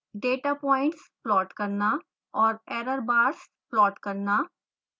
data points plot करना और errorbars plot करना